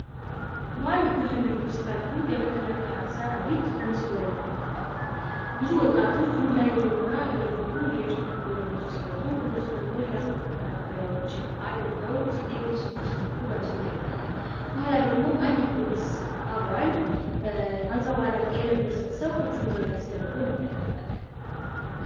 በአንድ ግርግር ዉስጥ ያሉ የመከላከያ ሰራዊት በምስሉ ላይ ይመለከታሉ። ብዙ ወጣቶች ዱላ ይዘውና እየጮሁ፣ እየጨፈሩ ወደነሱ ሲመጡ እነሱ ደግሞ የላስቲክ መከላከያዎችን አድርገው ሊመልሷቸው ሲሞክሩ መስሉ ላይ ይታያል። ከኋላ ደግሞ አንድ የፖሊስ አባል አንጸባራቂ የለበሰን ሰው እጁን ወደ ላይ አስደርጎ እንመለከታለን።